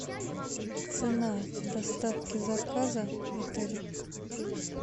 цена доставки заказа в отеле